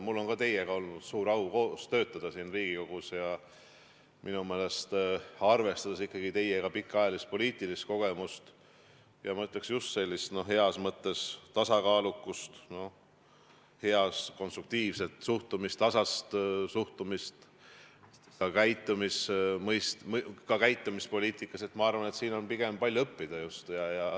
Mul on olnud suur au teiega siin Riigikogus koos töötada ja arvestades ka teie pikaajalist poliitilist kogemust ja ma ütleks, heas mõttes tasakaalukust, head konstruktiivset suhtumist, tasast suhtumist ja ka käitumist poliitikas, on minu arvates sellest palju õppida.